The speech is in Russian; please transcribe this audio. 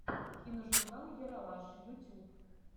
киножурнал ералаш ютюб